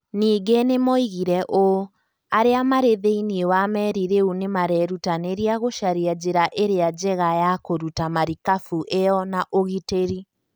Ningĩ nĩ moigire ũũ: "Arĩa marĩ thĩinĩ wa meri rĩu nĩ marerutanĩria gũcaria njĩra ĩrĩa njega ya kũruta marikabu ĩyo na ũgitĩri".